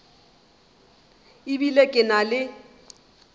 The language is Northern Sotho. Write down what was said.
e bile ke na le